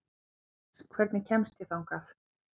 Jens, hvernig kemst ég þangað?